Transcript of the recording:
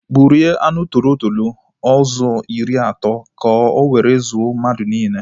Gburie anụ tọrọ tọrọ ahụ ụzọ iri atọ ka o were zuo mmadụ niile